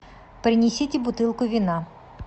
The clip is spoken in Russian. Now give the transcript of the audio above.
принесите бутылку вина